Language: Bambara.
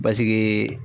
Basigi